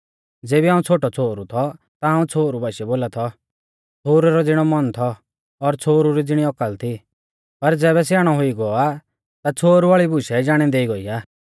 ज़ेबी हाऊं छ़ोटौ छ़ोहरु थौ ता हाऊं छ़ोहरु बाशीऐ बोला थौ छ़ोहरु रै ज़िणौ मन थौ और छ़ोहरु री ज़िणी औकल थी पर ज़ैबै स्याणौ हुई गौ आ ता छ़ोहरु वाल़ी बुशै जाणै देई गोई आ